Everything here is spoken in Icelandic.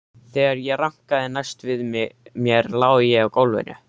Þegar ég rankaði næst við mér lá ég á gólfinu.